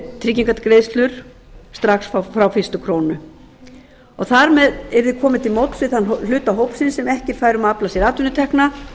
skerði tryggingagreiðslur strax frá fyrstu krónu þar með yrði komið til móts við þann hluta hópsins sem ekki er fær um að afla sér atvinnutekna